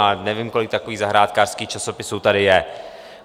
A nevím, kolik takových zahrádkářských časopisů tady je.